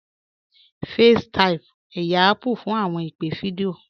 FaceTime, ẹyà Apple fún awọn ìpè̩ fídíọ̀